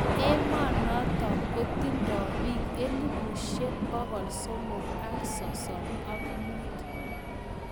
Emonotok kotindai biik elebushek pokol somok ak sosom ak muut.